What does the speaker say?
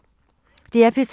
DR P3